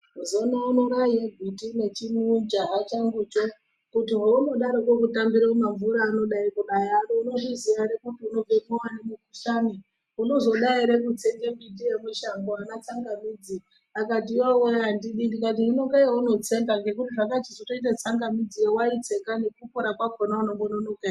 Zoona uno raiye gwiti nechimujaha changucho kuti hounodariko kutambire mumamvura anodayi kunaya ano unozviziya ere kuti unozobatiwa ngemukhuhlani unozoda ere kutsenge miti yemishango ana tsangamidzi akati yowee andidi ndikati hino ngeyeunotsenga ngekuti zvakachizoite tsangamidziyo wayitsenga nekupora kwakhona unombononoka ere.